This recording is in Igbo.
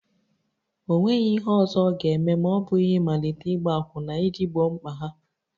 O nweghị ihe ọzọ ọ ga-eme ma ọ bụghị ịmalite ịgba akwụna iji gboo mkpa ha